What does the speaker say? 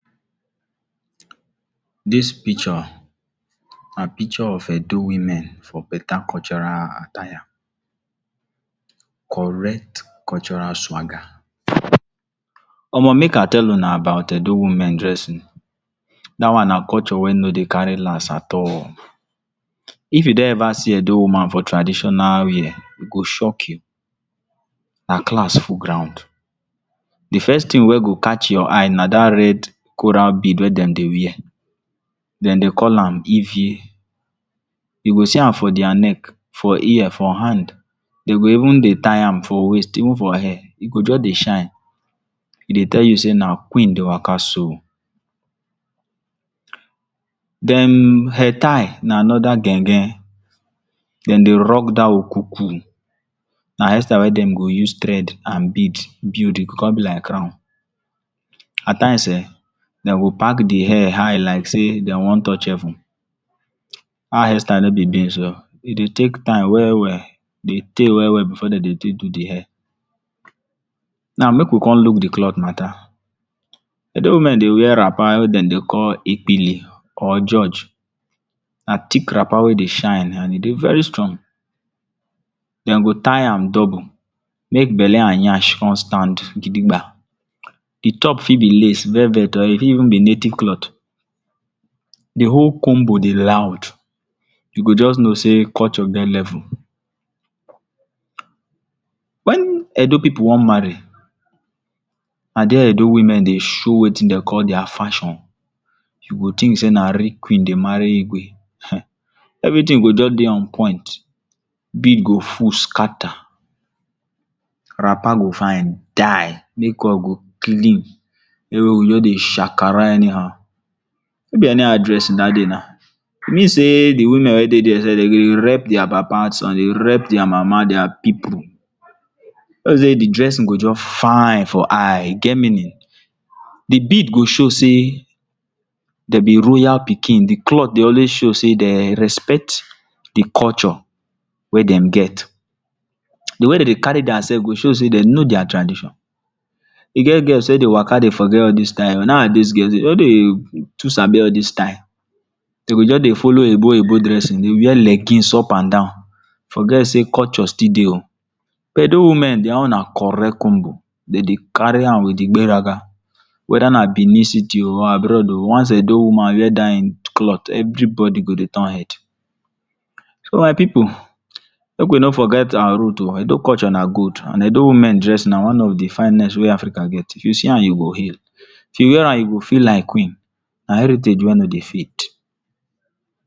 Dis pikcho na pikcho of Edo women for beta cultural attire, correct cultural swaga. omo Make I tell una about Edo women dresin, da one na culture wey no dey kari las at all. If you don eva see Edo woman for tradishonal wear, e go shock you, her clas full ground. Di first tin wey go catch your eye na da red coral bead wey dem dey wear. Dem dey call am Izie. You go see am for dia neck, for ear, for hand, dem go even dey tie am for waist even for hair. E go just dey shine, e go tell you sey na queen dey waka so. Den, head tie na anoda gen-gen, den dey rock dat Okuku, na hair style wey dem dey use tread and bead build, e go come be like crown. At times ehn, dem go pak di hair high like sey dem wan touch heven, that hairstyle no be beans oh E dey take time we-we, e dye tey we-we before de dey take do di hair. Now make we come luk di cloth mata, Edo women dey wear wrapper wey dem dey call ikpili or george, na thick wrapper wey e dey shine and e dey veri strong, dem go tie am double make bele and nyash come stand gidigba, di top fit be lace, velvet or e fit even be native cloth. Di whole combo dey loud, you go just no sey culture get level. Wen Edo pipu wan marry, na dia Edo women dey show wetin dey call dia fashon, you go tink sey na real queen dey mari Igwe. um Everi tin go just dey on point, bead go full skata, wrapper go fine die, makeup go clean, everi bodi go just dey shakara eni how, no be eni how dresin dat day na mean say the women weydey dia Dem go dey rep dia papa, some go dey rep dia mama, dia pipu. No be sey di dresin go just fine for eye, e get meanin. Di bead go show sey dem be royal pikin, di clot dey always show sey dem respect di culture wey dem get, di way dem dey kari dia sef go show sey dem no dia tradition, e get girls wey dey waka dey forget all dis style, nowadays girls no dey too sabi all dis style. De go just dey folo oyibo-oyibo dresin dey wear legis up and down forget sey culture dey o.edo women dia own na corect combo, e kari am with igberaga. Weda na Benin city, abroad o, once Edo woman wear dat in cloth, everi bodi go dey turn head. So my pipu, make we no forget our root o, Edo culture na gold, and Edo women dres na one of di finest dres wey Africa get, if you see am, you go hail, if you wear am you go feel like queen and na heritage wey no dey fade.